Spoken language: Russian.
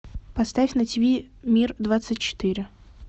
поставь на тв мир двадцать четыре